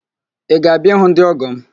Ị ga-abịa ịhụ ndị ọ́gọ̀ m?